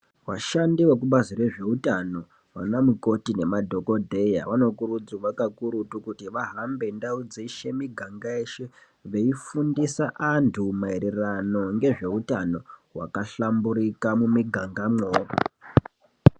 Vashandi vekubazi rezveutano, vana mukoti nemadhokodhleya vanokurudzirwa kakurutu kuti vahambe ndau dzeshe, muganga weshe, veifundisa antu maererano ngezveutano hwakahlamburika mumigangamwo.